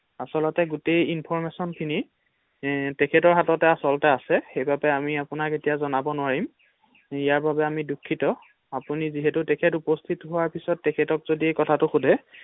আচলতে গোটোই ইনফৰমেচন খিনি তেখেতৰ হাততে আচলতে আছে সেইবাবে আমি আপোনাক এতিয়া জনাব নোৱাৰিম ৷ ইয়াৰ বাবে আমি দূখিত ৷ আপুনি যিহেতু তেখেত উপস্হিত হোৱাৰ পিছত তেখেতক যদি কখাটো সোধে ৷